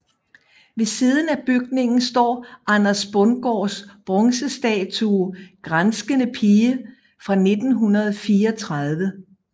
Ved siden af bygningen står Anders Bundgaards bronzestatue Granskende Pige fra 1934